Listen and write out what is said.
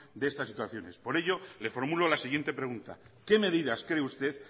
de estas situaciones por ello le formulo la siguiente pregunta qué medidas cree usted